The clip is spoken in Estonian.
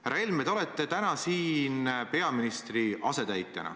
Härra Helme, te olete täna siin peaministri asetäitjana.